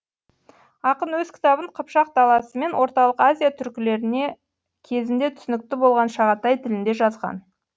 ақын өз кітабын қыпшақ даласы мен орталық азия түркілеріне кезінде түсінікті болған шағатай тілінде жазған